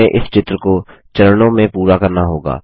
हमें इस चित्र को चरणों में पूरा करना होगा